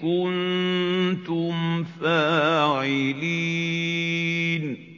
كُنتُمْ فَاعِلِينَ